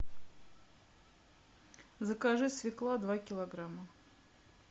закажи свекла два килограмма